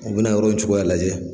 U bi na yɔrɔ cogoya lajɛ